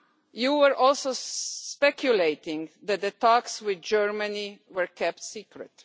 You also speculated that the talks with Germany were kept secret.